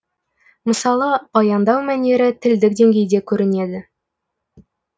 мысалы баяндау мәнері тілдік деңгейде көрінеді